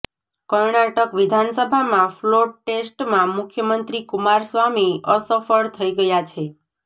કર્ણાટક વિધાનસભામાં ફ્લોટ ટેસ્ટમાં મુખ્યમંત્રી કુમારસ્વામી અસફળ થઈ ગયા છે